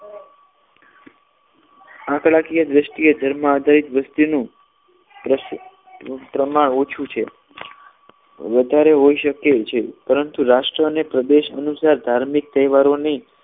આંકડાકીય દ્રષ્ટિએ ધર્મમાં એક પ્રમાણે ઓછું છે વધારે હોઈ શકે છે પરંતુ રાષ્ટ્રીય અને પ્રદેશ અનુસાર ધાર્મિક તહેવારોની